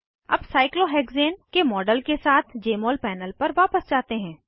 अब साइक्लोहेक्सेन के मॉडल के साथ जमोल पैनल पर वापस जाते हैं